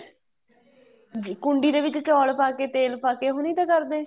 ਜੀ ਕੁੰਡੀ ਦੇ ਚੋਲ ਪਾਕੇ ਤੇਲ ਪਾਕੇ ਉਹ ਨਹੀਂ ਤਾਂ ਕਰਦੇ